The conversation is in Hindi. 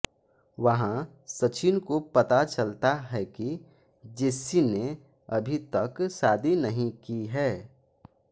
वहाँ सचिन को पता चलता है कि जेस्सी ने अभी तक शादी नहीं की है